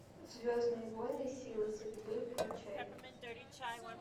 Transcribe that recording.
звездные войны силы судьбы включай